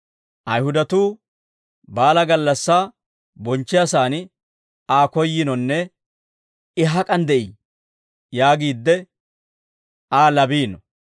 Ayihudatuu baalaa gallassaa bonchchiyaasan Aa koyyiinonne, «I hak'an de'ii?» yaagiidde, Aa labiino.